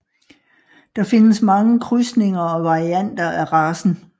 Der findes mange krydsninger og varianter af racen